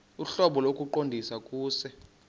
ohlobo lokuqondisa kuse